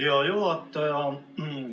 Hea juhataja!